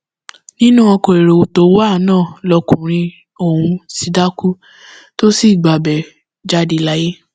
nínú ọkọ èrò tó wà náà lọkùnrin ọhún ti dákú tó sì gbabẹ jáde láyè